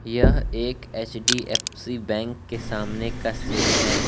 यह एक एच_डी_एफ_सी बैंक के सामने का सीन है।